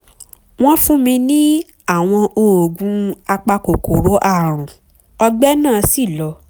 wọ́n fún mi ní àwọn oògùn apakòkòrò ààrùn ọgbẹ́ náà sì lọ